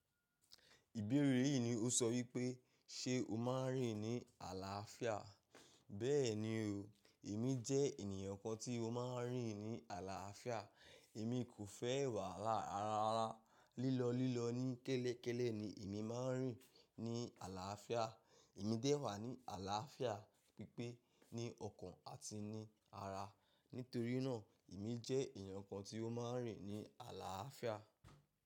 Ìbéèrè yìí ni ó sọ wípé, ṣe o máa ń rìn ní àlàáfíà? Bẹ́ẹ̀ni o, èmi jẹ́ ènìyàn kan tí ó máa ń rìn ní àlàáfíà. Èmi kò fẹ́ wàhalá ra rara. Lílọ lílọ ní kẹ́lẹ́ kẹ́lẹ́ ni èmi máa ń rìn ní àlàáfíà. Èmi dẹ́wà ní àlàáfíà pípé ní ọkàn àti ní ara. Nítorí náà, èmi jẹ́ ènìyàn kan tí ó máa ń rìn ní àlàáfíà.